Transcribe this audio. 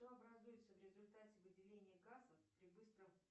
что образуется в результате выделения газа при быстром